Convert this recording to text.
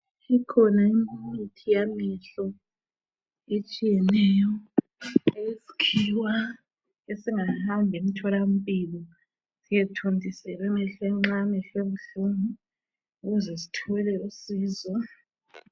Ikhona imithi yamehlo etshiyeneyo eyesikhiwa esingahamba emtholampilo, siyethontiselwa emehlweni nxa amehlo ebuhlungu ukuze sithole usizo.